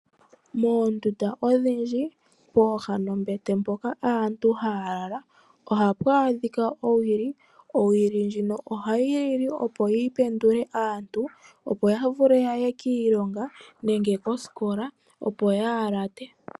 Moondunda odhindji pooha nombete mpoka aantu haya lala, ohapu adhika owili, owili ndjino ohayi lili opo yi pendule aantu opo vule yaye kiilonga nenge koskola, opo kaya late.